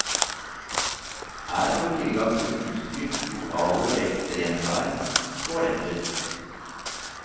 Her har vi tilgang på utstyr, lokaler ved ekstremt vær, toaletter.